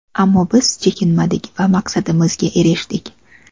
Ammo biz chekinmadik va maqsadimizga erishdik.